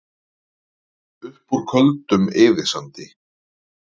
Upp úr Köldum eyðisandi